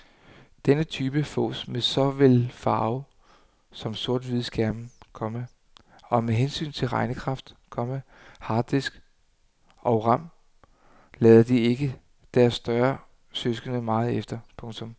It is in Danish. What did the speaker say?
Denne type fås med såvel farve som sorthvide skærme, komma og med hensyn til regnekraft, komma harddisk og ram lader de ikke deres større søskende meget efter. punktum